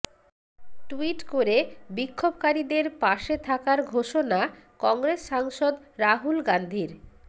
tweet করে বিক্ষোভকারীদের পাশে থাকার ঘোষণা কংগ্রেস সাংসদ রাহুল গান্ধীর